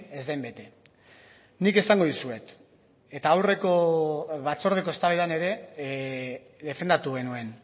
ez den bete nik esango dizuet eta aurreko batzordeko eztabaidan ere defendatu genuen